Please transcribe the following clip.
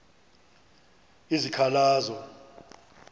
izikhalazo